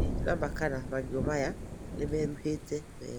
Ndirĩ na ma kana marigu maya ni merũhĩte wega